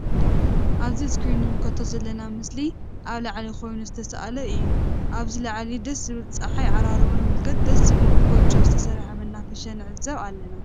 እዚ አብ እስክሪም እንምልከቶ ዘለና ምስሊ አብ ላዕሊ ኮይኑ ዝተስ አለ እዩ::አብዚ ላዕሊ ደስ ዝብል ፀሓይ ዓራርቦ ንምልከት ደስ ዝብል ብ ጎጆ ዝተሰርሐ መናፈሻ ንዕዘብ አለና::